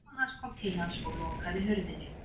Mamma hans kom til hans og lokaði hurðinni.